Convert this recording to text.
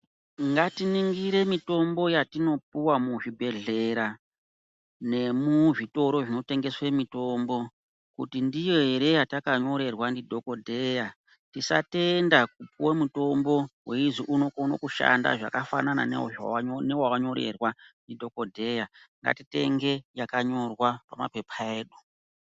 Ngatiningire mitombo yatinopuwa muzvibhedhlera nemuzvitoro zvinotengeswe mitombo kuti ndiyo here yatakanyorerwa ndidhokodheya. Tisatenda kupuwe mutombo weizi unokono kushanda zvakafanana newawanyorerwa ndidhokodheya. Ngatitenge yakanyorwa pamapepa edu.